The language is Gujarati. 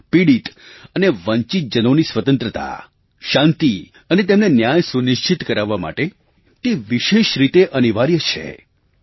શોષિત પીડિત અને વંચિતજનોની સ્વતંત્રતા શાંતિ અને તેમને ન્યાય સુનિશ્ચિત કરાવવા માટે તે વિશેષ રીતે અનિવાર્ય છે